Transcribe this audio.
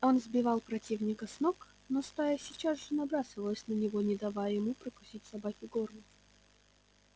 он сбивал противника с ног но стая сейчас же набрасывалась на него не давая ему прокусить собаке горло